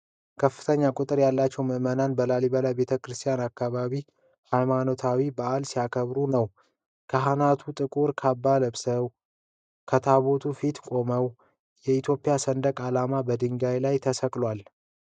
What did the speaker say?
ከፍተኛ ቁጥር ያላቸው ምእመናን በላሊበላ ቤተ ክርስቲያን አካባቢ ሃይማኖታዊ በዓል ሲያከብሩ ነው። ካህናቱ ጥቁር ካባ ለብሰው ከታቦቱ ፊት ሲቆሙ፣ የኢትዮጵያ ሰንደቅ ዓላማ በድንጋዩ ላይ ተሰቅሏል።